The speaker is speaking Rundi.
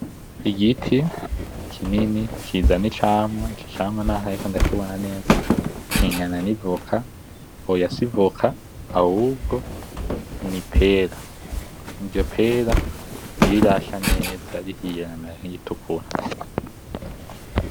Igiti kinini kizana icamwa , ico camwa naho ntariko ndakibona neza kingana n'ivoka, oya si ivoka ahubwo ni ipera, iryo pera ntirirasha neza , rihiye riramera nk'iritukura.